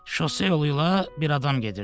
Şose yolu ilə bir adam gedirdi.